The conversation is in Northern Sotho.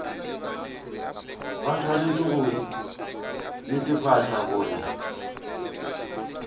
ba swanetše go netefatša gore